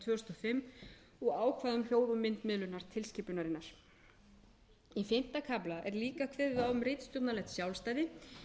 fimm og ákvæðum um þjóð og myndmiðlunar tilskipunarinnar í fimmta kafla er líka kveðið á um ritstjórnarlegt sjálfstæði